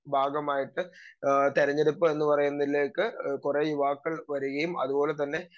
speaker 2 ഭാഗമായിട്ട് ആഹ് തെരഞ്ഞെടുപ്പ് എന്ന് പറയുന്നതിലേക്ക് കുറേ യുവാക്കൾ വരുകയും അതുപോലെതന്നെ